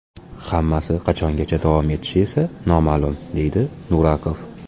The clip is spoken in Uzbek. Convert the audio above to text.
Hammasi qachongacha davom etishi esa noma’lum”, – deydi Nurakov.